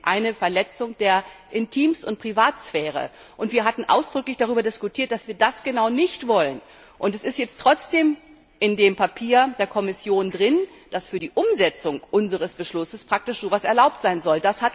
Es ist eine Verletzung der Intim und Privatsphäre, und wir hatten ausdrücklich darüber diskutiert, dass wir genau das nicht wollen. Es ist jetzt trotzdem in dem Papier der Kommission drin, dass für die Umsetzung unseres Beschlusses praktisch so etwas erlaubt sein soll.